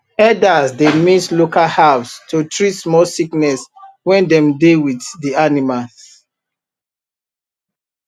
herders dey mix local herbs to treat small sickness when dem dey with the animals